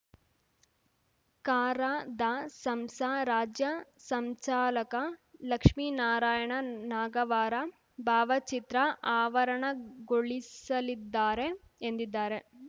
ಕರಾದಸಂಸ ರಾಜ್ಯ ಸಂಚಾಲಕ ಲಕ್ಷ್ಮೀನಾರಾಯಣ ನಾಗವಾರ ಭಾವಚಿತ್ರ ಆವರಣಗೊಳಿಸಲಿದ್ದಾರೆ ಎಂದಿದ್ದಾರೆ